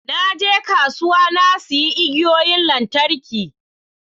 Na je kasuwa na sayi igiyoyin lantarki